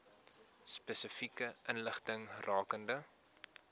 spesifieke inligting rakende